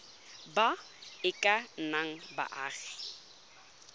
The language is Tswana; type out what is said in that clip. ba e ka nnang baagi